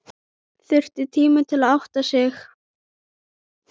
Þurfti tíma til að átta sig.